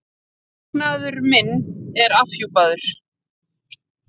Verknaður minn er afhjúpaður.